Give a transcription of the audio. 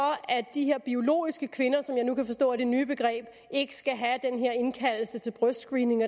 de her biologiske kvinder som jeg nu kan forstå er det nye begreb ikke skal have den her indkaldelse til brystscreening